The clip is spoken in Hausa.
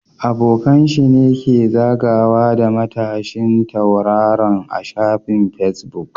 Abokan sa ne ke zagawa da matashin tauraron a shafin Facebook